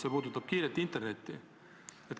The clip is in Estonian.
See puudutab kiiret internetti.